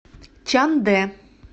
чандэ